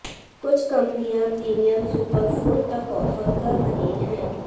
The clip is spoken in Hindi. कुछ कंपनियां प्रीमियम सुपरफोन तक ऑफर कर रही है